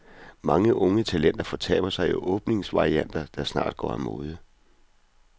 Mange unge talenter fortaber sig i åbningsvarianter, der snart går af mode.